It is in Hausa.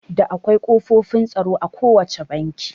Da akwai ƙofofin tsaro a ko wacce banki